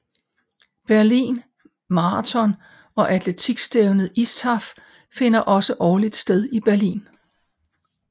Berlin Marathon og atletikstævnet ISTAF finder også årligt sted i Berlin